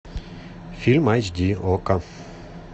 фильм айч ди окко